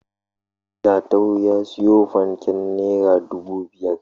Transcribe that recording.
Jatau ya siyo fanken naira dubu biyar.